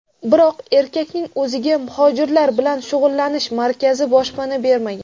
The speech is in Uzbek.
Biroq erkakning o‘ziga muhojirlar bilan shug‘ullanish markazi boshpana bermagan.